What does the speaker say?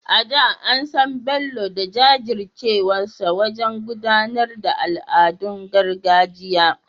A da, an san Bello da jajircewarsa wajen gudanar da al’adun gargajiya.